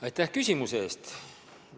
Aitäh küsimuse eest!